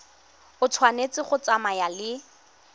e tshwanetse go tsamaya le